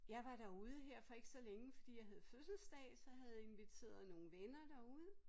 Jeg var derude her for ikke så længe fordi jeg havde fødselsdag så havde inviteret nogle venner derude